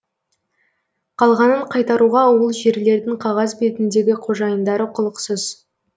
қалғанын қайтаруға ол жерлердің қағаз бетіндегі қожайындары құлықсыз